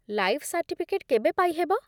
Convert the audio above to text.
Life certificate କେବେ ପାଇହେବ ?